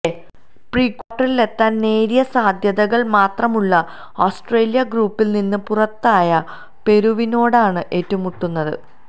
പ്രീക്വാര്ട്ടറിലെത്താന് നേരിയ സാധ്യതകള് മാത്രമുള്ള ഓസ്ട്രേലിയ ഗ്രൂപ്പില് നിന്ന് പുറത്തായ പെറുവിനോടാണ് ഏറ്റുമുട്ടുന്നത്